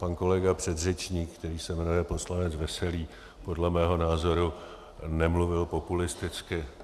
Pan kolega předřečník, který se jmenuje poslanec Veselý, podle mého názoru nemluvil populisticky.